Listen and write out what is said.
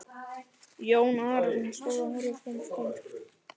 Jón Arason stóð og horfði fram dalinn.